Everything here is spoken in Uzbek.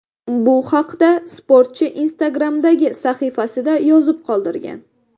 Bu haqda sportchi Instagram’dagi sahifasida yozib qoldirgan .